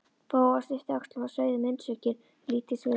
Bóas yppti öxlum og sveigði munnvikin í lítilsvirðingar